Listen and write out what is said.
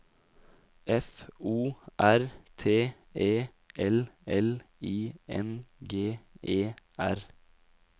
F O R T E L L I N G E R